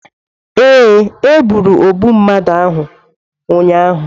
Ee, e gburu ogbu mmadụ ahụ ụnyahụ.